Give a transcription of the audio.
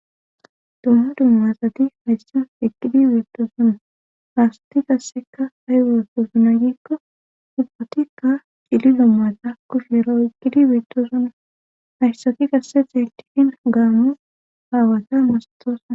Dumma dummasati hayssan iqqidi biittosima haasti qasseka hay weotosuna giikko dubbotikka dili dommata kush yero iqgidi beitto sunna hayssaki qasse xeetihin gaamu aawata masatosna